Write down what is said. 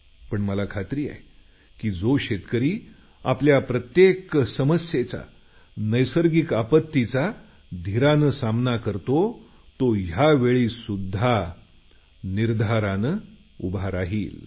पण मला खात्री आहे की जो शेतकरी आपल्या प्रत्येक समस्येचा नैसर्गिक समस्येला सामोरे जाऊन कठीण प्रसंगाशी नेहमी कसून सामना करतो यावेळीही तो पाय रोवून उभा आहे